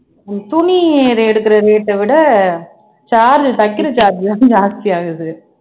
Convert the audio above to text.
துணி எடுக்கிற rate அ விட charge உ தைக்கிற charge தான் ஜாஸ்தி ஆகுது